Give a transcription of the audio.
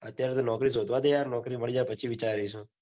અત્યારે તો નોકરી શોધવા દે યાર નોકરી મળી જાય. પછી વિચારીશુ